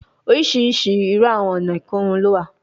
Oriṣiriṣi iru awọn ọna ikorun lo wa